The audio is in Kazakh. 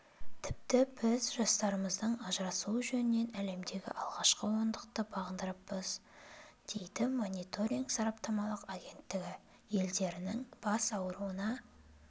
тіпті біз жастарымыздың ажырасуы жөнінен әлемде алғашқы ондықты бағындырыппыз дейді мониторинг сараптамалық агенттігі елдерінің бас ауруына